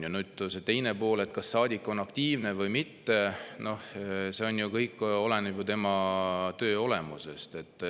Nüüd see teine pool, et kas saadik on aktiivne või mitte – noh, see ju kõik oleneb tema töö olemusest.